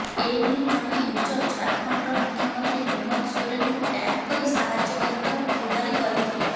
ଏନେଇ ଜଣେ ୟୁଜର ଝାଡ଼ଖଣ୍ଡର ମୁଖ୍ୟମନ୍ତ୍ରୀ ହେମନ୍ତ ସୋରେନଙ୍କୁ ଟ୍ୟାଗ୍ କରି ସାହାଯ୍ୟ କରିବାକୁ ଗୁହାରି କରିଥିଲେ